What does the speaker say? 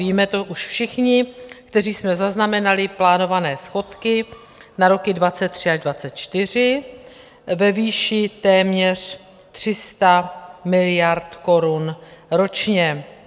Víme to už všichni, kteří jsme zaznamenali plánované schodky na roky 2023 až 2024 ve výši téměř 300 miliard korun ročně.